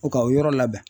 U ka o yɔrɔ labɛn